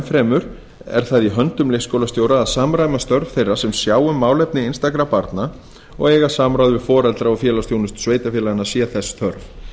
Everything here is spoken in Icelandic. fremur er það í höndum leikskólastjóra að samræma störf þeirra sem sjá um málefni einstakra barna og eiga samráð við foreldra og félagsþjónustu sveitarfélaganna sé þess þörf